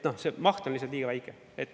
See maht on lihtsalt liiga väike.